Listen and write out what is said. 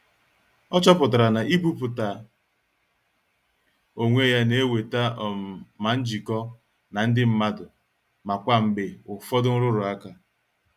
O chọpụtara na ibuputa onwe ya na-eweta um ma njikọ na ndị mmadụ ma kwa mgbe ụfọdụ nrụrụ ụka.